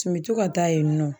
Tun bɛ to ka taa yen nɔ.